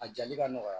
A jali ka nɔgɔya